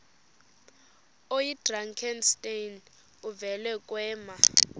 oyidrakenstein uvele kwema